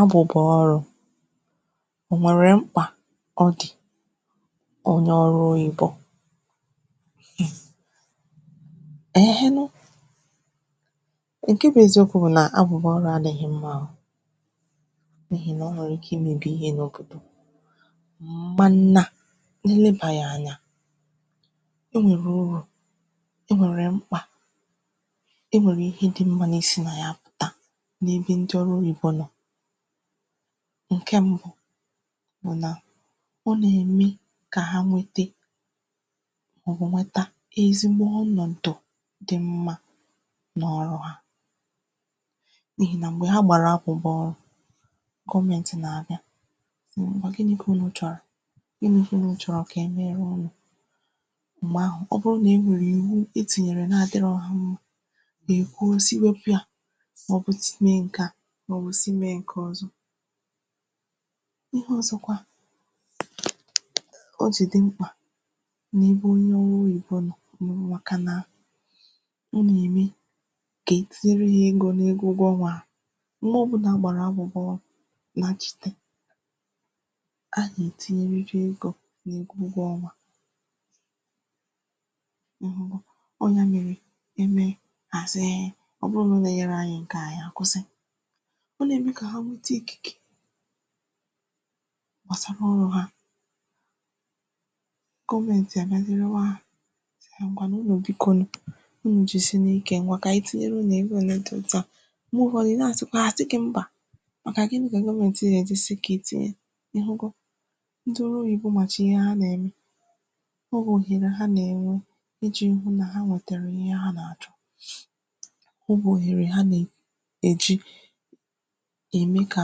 abụ̀bụ̀ ọrụ̄ nwèrè mkpà ọ dì onye ọrụ oyìbo eeh nu ńke bụ eziokwu bụ na abụbụ ọrụ adị̄ghị mma o n’ihi nà o nwèrè ike imēbì ihe n’ogè m̀ ma nna ilebā ya anya o nwèrè ụrụ̀ e nwèrè mkpà e nwèrè ihe di mmā na-esi nà ya apụ̀ta n’ebe ndị ọrụ oyìbo nọ̀ ǹke m̀bu bụ nà ọ nà-ème kà ha nwete màọbụ̀ nweta ezigbo ọnọ̀dụ̀ di mmā n’ọrụ hā n’ihì na m̀gbè ha gbàrà abụ̀bụ̀ ọrụ̄ gọmentì nà-àbịa ngwa gini kà unū chọ̀rọ̀ ginī kà un chọ̀rọ̀ kà emere unù m̀gbè ahụ̀ ọ bụrụ nà e nwèrè ìwu et tìnyère na-adị̄rọ ha mmā ị̀hụ si wepū ya màọbụ tinye ǹke a màọbụ tinye ǹke ọ̀zọ ihe ọ̀zọkwa o jì di mkpà n’ihu onye ọrụ oyìbo nọ̀ màkà nà ị nà-ème ka tinye ego n’ego ụgwọ ọnwā ha m̀gbè ọ̀bụna a gbàrà abụbọ m̀ma nchīte a nà-ètinye nriji egō n’ego ụgwọ ọnwā ahụhụ anya mmịrị̄ iwe nà àzụghe ọ bụrụ nà unù enyēro ànyị ǹke a ànyị àkwụsị ọ nà ème kà ha nweta ikìke gbasakwa ọnụ̄ ha gọmentì èmezi nyewa hā e ngwanụ unù bikonu unù jisinù ike ngwa kà ànyị tinyere unù oge òle di òtu a m̀gbe ụ̀fọdị ị na-àsịkwa hà àsị gi mbà màkà gini gà-eme na òtu ị gà esi sikèti ya ìnugo ndị ọrụ oyìbo màchà ihe a nà-ème ọ bụghị nà ha nà-ènwe ijī hu nà ha nwètèrè ihe ha nà-àchọ ọ bụ̀ òhèrè ha nàọ bụ̀ òhèrè ha nà èje ème kà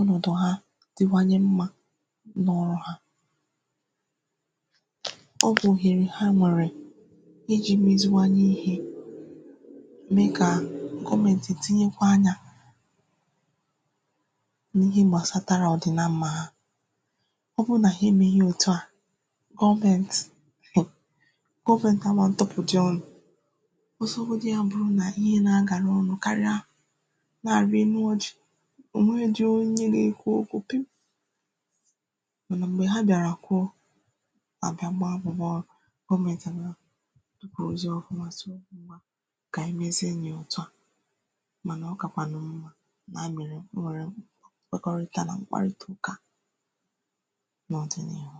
ọnọ̀dụ̀ ha diwanye mmā n’ọ̀hà ọ bụ̀ghèrì ha nọ̀rị ijī meziwanu ihē mee kà gọmentì tinyekwa anyā n’ihi gbàsatara ọ̀ dị na mmā ha ọ bụrụ nà ha èmeghi ya òtu a gọmentì gọmentì a mā ntupùdi ọnụ̄ ọsọgodu ya bụrụ nà ihe nà-agàra olu karịa na-àrị enu ojì ò nweghīdi onye ga-ekwu okwu piim mànà m̀gbe ha bịàrà kwuo àbịa gbaa abụ̀bụ̀ ọrụ gọmentì àbịa kwụ̀rụ̀zie ọ̀fụma si kà ànyị mezienù ya òtù a mànà ọ kà kwànụ̀ mmā nà ànyị mèrè m wèrè nkwekọrịta nà mkparịta ụka a nà ọ̀dị̀nịhụ